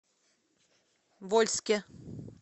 вольске